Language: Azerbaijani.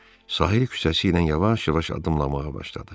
Sahil küçəsi ilə yavaş-yavaş addımlamağa başladı.